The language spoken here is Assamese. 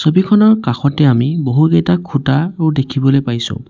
ছবিখনৰ কাষতে আমি বহুকেইটা খুঁটাও দেখিবলৈ পাইছোঁ।